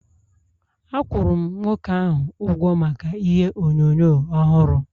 Akwuru m nwoke ahụ ụgwọ maka ihe onyonyo ọhụrụ